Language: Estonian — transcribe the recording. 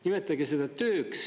Nimetage seda tööks.